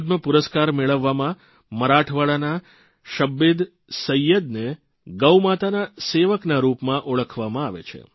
પદ્મપુરસ્કાર મેળવવામાં મરાઠાવાડના શબ્બીદ સૈયદને ગૌમાતાના સેવકના રૂપમાં ઓળખવામાં આવે છે